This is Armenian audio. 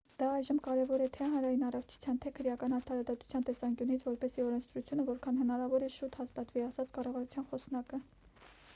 «դա այժմ կարևոր է թե՛ հանրային առողջության թե՛ քրեական արդարադատության տեսանկյունից որպեսզի օրենսդրությունը որքան հնարավոր է շուտ հաստատվի,- ասաց կառավարության խոսնակը:»